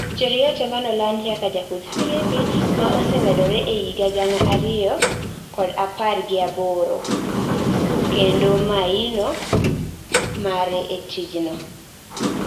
Cheruiyot emanolandi kaka jakudh firimbi ma osemedore e higa gana ariyoapar gi aboro , kendo maino mare e tijno